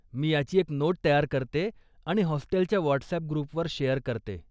मी याची एक नोट तयार करते आणि हॉस्टेलच्या व्हॉटसॲप ग्रुपवर शेअर करते.